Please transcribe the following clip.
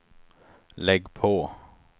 lägg på